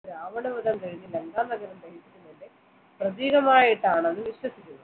രാവണവധം കഴിഞ്ഞ ലങ്കാനഗരം പ്രതീകമായിട്ടാണ് വിശ്വസിക്കുന്നു